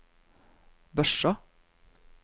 Børsa